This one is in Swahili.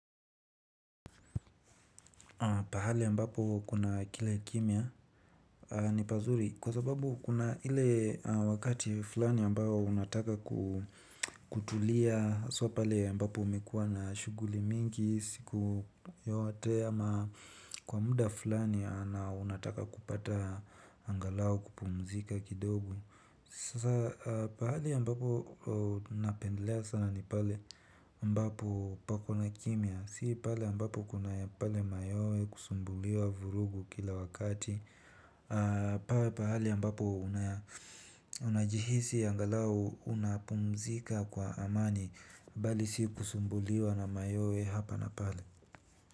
Pahali yambapo kuna kila kimia ni pazuri kwa sababu kuna ile wakati fulani ambayo unataka kutulia so pale ya mbapo umekuwa na shuguli mingi siku yote ama kwa muda fulani ana unataka kupata angalau kupumzika kidogo. Sasa pahali ambapo napendelea sana ni pale mbapo pakona kimia. Si pale ambapo kuna pale mayoe kusumbuliwa vurugu kila wakati pawe pahali ambapo unajihisi angalau unapumzika kwa amani. Bali si kusumbuliwa na mayoe hapa na pale.